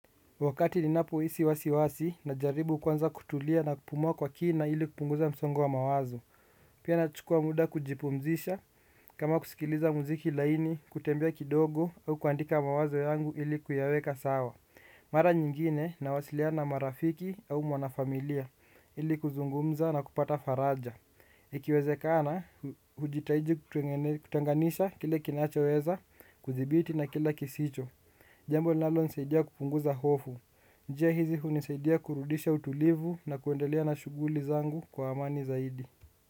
Wakati ninapoisi wasi wasi najaribu kwanza kutulia na kupumuwa kwa kina ili kupunguza msongo wa mawazo. Pia nachukua muda kujipumzisha kama kusikiliza muziki laini kutembea kidogo au kuandika mawazo yangu ili kuyaweka sawa. Mara nyingine nawasiliana na marafiki au mwanafamilia ili kuzungumza na kupata faraja. Jkiwezekana, hujitaiji kutenganisha kile kinachoweza kuthibiti na kila kisicho. Jambo linalonisaidia kupunguza hofu. Njia hizi hunisaidia kurudisha utulivu na kuendelea na shuguli zangu kwa amani zaidi.